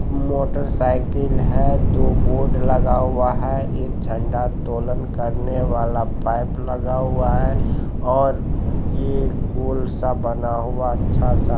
motorcycle है दो board लगा हुआ हैं एक झंडा तोलन करने वाला पाइप लगा हुआ हैंऔर ये गोल सा बना हुआ अच्छा-सा